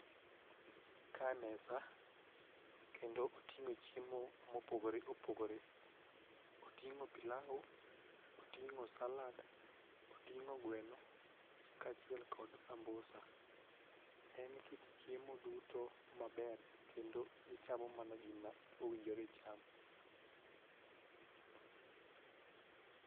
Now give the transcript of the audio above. Ka mesa kendo oting'o chiemo mopogore opogore. Oting'o pilau ,oting'o salad ,oting'o gweno kaachiel kod sambusa . En kit chiemo duto maber kendo ichamo mana gima owinjore icham